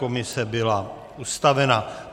Komise byla ustavena.